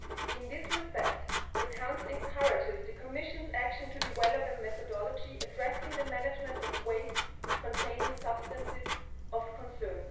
In this respect, the Council encourages the Commission's action to develop a methodology addressing the management of waste containing substances of concern.